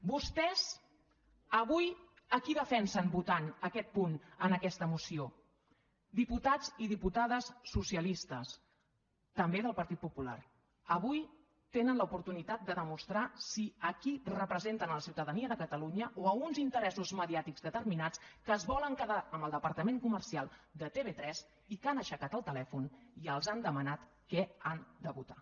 vostès avui a qui defensen votant aquest punt en aquesta moció diputats i diputades socialistes també del partit popular avui tenen l’oportunitat de demostrar si aquí representen la ciutadania de catalunya o uns interessos mediàtics determinats que es volen quedar amb el departament comercial de tv3 i que han aixecat el telèfon i els han demanat què han de votar